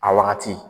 A wagati